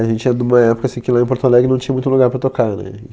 A gente é de uma época assim que lá em Porto Alegre não tinha muito lugar para tocar, né?